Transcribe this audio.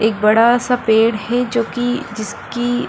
एक बड़ा सा पेड़ है जो कि जिसकी --